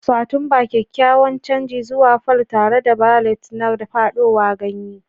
Satumba: kyakkyawan canji zuwa fall tare da ballet na fadowa ganye.